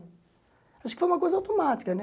Acho que foi uma coisa automática, né?